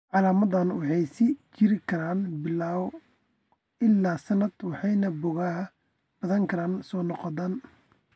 Calaamadahani waxay sii jiri karaan bilo ilaa sanado waxayna boogaha badanaa soo noqdaan.